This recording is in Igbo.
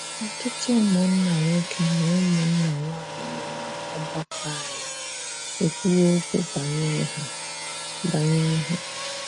Ọtụtụ ụmụnna nwoke na ụmụnna nwanyị nọ n’ọgbakọ anyị ekwuwo okwu banyere ha banyere ha.